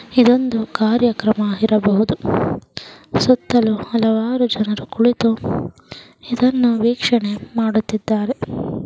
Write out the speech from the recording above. ಇದೊಂದು ಕಾರ್ಯಕ್ರಮ ಇರಬಹುದು ಸುತ್ತಲೂ ಹಲವಾರು ಜನರು ಕುಳಿತು ಇದನ್ನು ವೀಕ್ಷಣೆ ಮಾಡುತ್ತಿದ್ದಾರೆ.